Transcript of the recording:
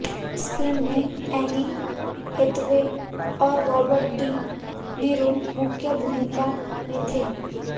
इस फिल्म में Anne Hathaway और रॉबर्ड डी नीरो मुख्य भूमिका में थे